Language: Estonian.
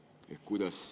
… või pidurduda.